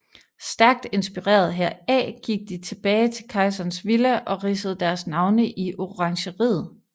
Stærkt inspireret heraf gik de tilbage til Kejserens Villa og ridsede deres navne i orangeriet